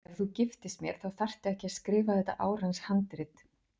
Ef þú giftist mér þá þarftu ekki að skrifa þetta árans handrit.